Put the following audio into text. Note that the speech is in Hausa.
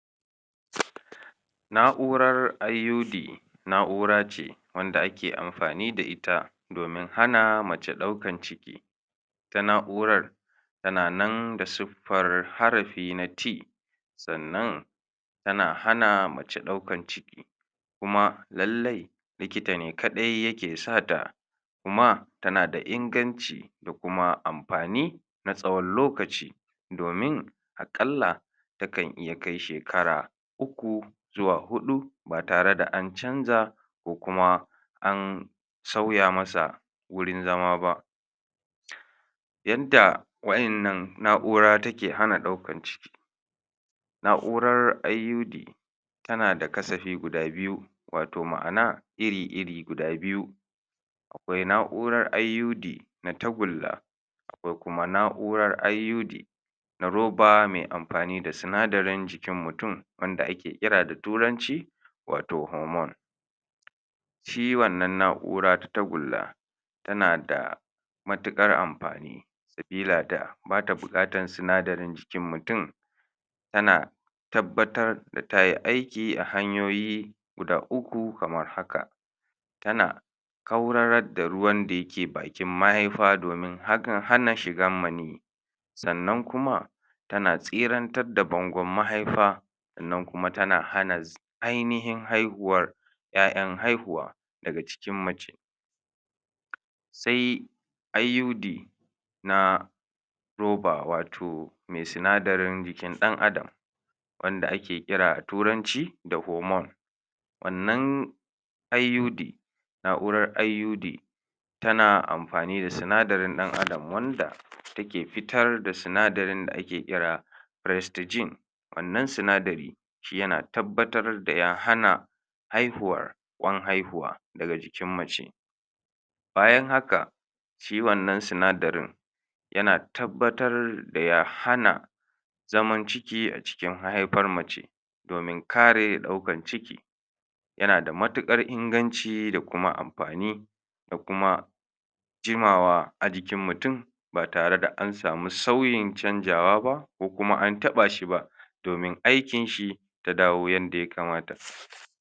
na'urar IUD nau'race wanda ake ammafani da ita domin hana mace ɗaukan ciki ita na'urar tananan da siffar harafi na T sannan tana hana mace ɗaukan ciki kuma lallai likita ne kaɗai yake sata kuma tana da inganci da kuam amfani na tsawan lokaci domin a ƙalla takan iya kai shekara uku zuwa huda ba tare da ancanza ko kuma ansauya masa gurin zama ba yadda wa innan na'ura take hana ɗaukar ciki na'urara IUD tana da kasafi guda biyu wato ma'ana wato ma'ana iri iri guda biyu aƙwai na'urar IUD na tagula aƙwai kuma na'urar IUD na ruba me amfani da sinadarin jikin mutum wanda ake kira da turanci wato hormone shi wannan na'ura ta tagulla tana da matuƙar amfani sabila da bta buƙatar sinadarin jikin mutum tana tabbatar da tayi aiki a hanyoyi guda uku kamar haka tana kaurarar da ruwan da yake bakin mahaifa domin akan hana shigan maniy sannan kuma tana tsirantar da bangun mahaifa sannan kuma tana hana ainahin haihuwar ƴa'ƴan haihuwa daga cikin mace sai IUD na ruba wato me sanadarin jikin ɗan adam wanda ake ƙira a turanci a hormone wannan IUD na'urar IUD tana amfani da sinadarin ɗan adam wanda take fitar da sinadarin da ake ƙira restigen wannan sinadari shi yana tabbatar da ya hana haihuwar ƙwan haihuwa daga jikin mace bayan haka shi wannan sinadarin yana tabbatar da ya hana zaman ciki a cikin mahaifar mace domin kare ɗaukar ciki yana da matuƙar inganci da kuma amfani da kuma jimawa a jikin mutum ba tare da ansamu sauyin canzawa ba ko kuma antaba shi ba domin aikin shi ta dawo yanda ya kamata